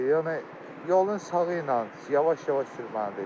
Yəni yolun sağı ilə yavaş-yavaş sürməlidir.